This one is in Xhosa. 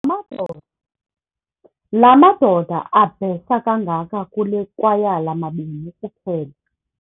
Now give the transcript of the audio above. La madoda abhesa kangaka kule kwayala mabini kuphela.